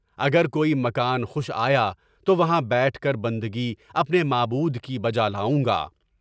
اگر کوئی مکان خوش آیا تو وہاں بیٹھ کر بندگی اپنے معبود کی بجالاؤں گا۔